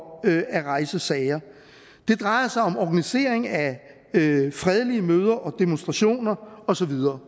at rejse sager og det drejer sig om organisering af fredelige møder og demonstrationer og så videre